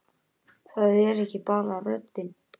Það er ekki bara röddin.